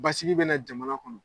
Basigi bɛ na jamana kɔnɔ.